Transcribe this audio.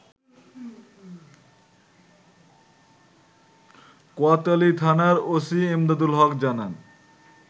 কোতোয়ালিথানার OC Emdadul Haque জানান